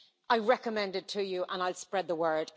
I recommend it to you, and I will spread the word.